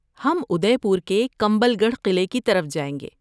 ہم ادے پور کے کمبل گڑھ قلعے کی طرف جائیں گے۔